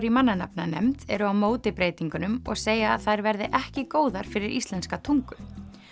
í mannanafnanefnd eru á móti breytingunum og segja að þær verði ekki góðar fyrir íslenska tungu